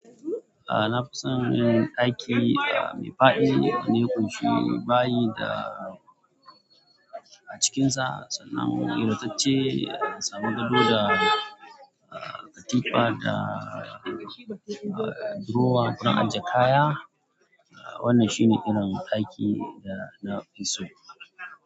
A'm, na fi son yin ɗaki a, mai faɗi, wanda ya kunshi, bayi da a cikinsa sannan ingantacce, samu gado da katifa da durowa don aje kaya. Wannan shine irin ɗakin da na fi so.